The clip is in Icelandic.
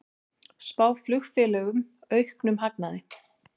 Spá flugfélögum auknum hagnaði